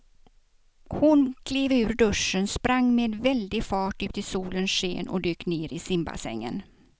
Hon klev ur duschen, sprang med väldig fart ut i solens sken och dök ner i simbassängen.